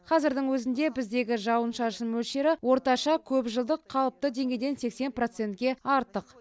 қазірдің өзінде біздегі жауын шашын мөлшері орташа көпжылдық қалыпты деңгейден сексен процентке артық